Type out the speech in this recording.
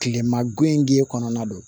Kilema gun in k'e kɔnɔna don